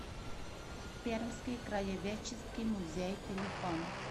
пермский краеведческий музей телефон